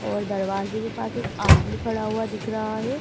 और दरवाजे के पास एक आदमी खड़ा हुआ दिख रहा है।